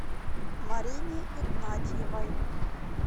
марине игнатьевой